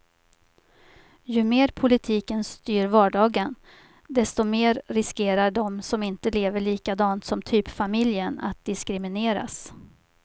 Ju mer politiken styr vardagen, desto mer riskerar de som inte lever likadant som typfamiljen att diskrimineras.